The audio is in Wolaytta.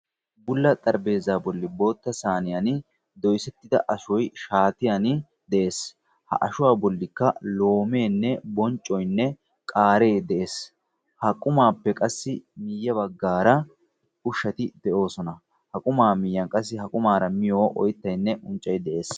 Bulla xarphpheezzaa bolli sayniyaani dees ha ashshuwaa bollikka loomeenne bonccoynne qaaree de'ees. ha qumaappe qassi ya baggaara ushshati de'oosona. ha qumaa miyiyaan qassi ha qumaara miyoo oyttayinne unccay de'ees.